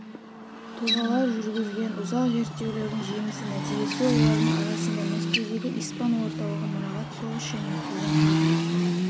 тұлғалар жүргізген ұзақ зерттеулердің жемісті нәтижесі олардың арасында мәскеудегі испан орталығы мұрағат соғыс және қуғын-сүргін